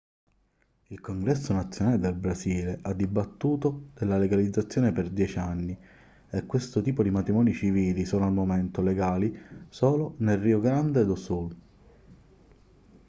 il congresso nazionale del brasile ha dibattuto della legalizzazione per 10 anni e questo tipo di matrimoni civili sono al momento legali solo nel rio grande do sul